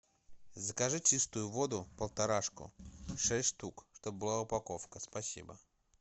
закажи чистую воду полторашку шесть штук чтобы была упаковка спасибо